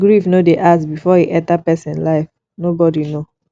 grief no dey ask before e enter person life nobody know